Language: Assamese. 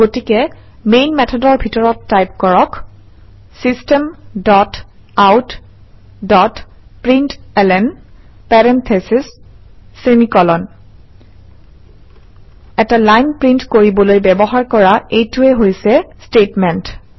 গতিকে মেইন মেথডৰ ভিতৰত টাইপ কৰক - system dot out dot println parentheses semi colon এটা লাইন প্ৰিণ্ট কৰিবলৈ ব্যৱহাৰ কৰা এইটোৱেই হৈছে ষ্টেটমেণ্ট